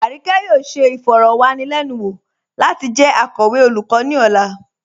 Arike yóò ṣẹ ifọ̀rọ̀wanilẹnuwo lati jẹ akọwe olùkọ̀ ni ọ̀là.